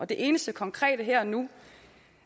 det eneste konkrete her og nu